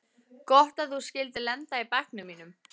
Gott að þú skyldir lenda í bekknum mínum.